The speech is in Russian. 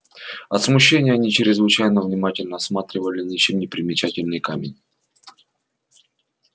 от смущения они чрезвычайно внимательно осматривали ничем не примечательный камень